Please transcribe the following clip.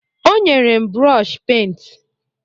O nyere m brọshi pent.